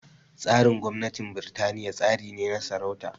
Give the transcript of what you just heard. Tsarin gwamnatin Birtaniya tsari ne na sarauta